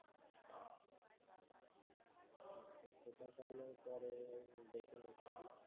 আচ্ছা তাহলে পরে দেখে নিচ্ছি